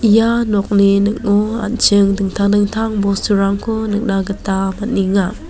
ia nokni ning·o an·ching dingtang dingtang bosturangko nikna gita man·enga.